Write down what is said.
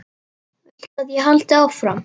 Viltu að ég haldi áfram?